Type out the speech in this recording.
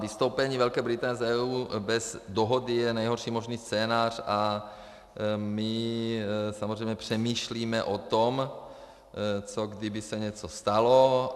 Vystoupení Velké Británie z EU bez dohody je nejhorší možný scénář a my samozřejmě přemýšlíme o tom, co kdyby se něco stalo.